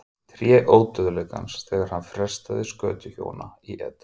Tré Ódauðleikans þegar hann freistaði skötuhjúanna í Eden